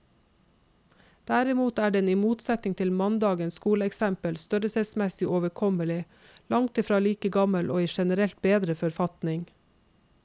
Derimot er den i motsetning til mandagens skoleeksempel størrelsesmessig overkommelig, langtfra like gammel og i generelt bedre forfatning.